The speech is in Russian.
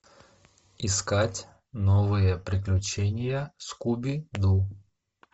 искать новые приключения скуби ду